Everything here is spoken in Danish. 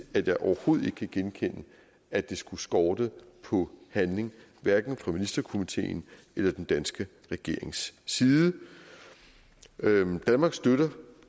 at jeg overhovedet ikke kan genkende at det skulle skorte på handling fra ministerkomiteens eller den danske regerings side danmark støtter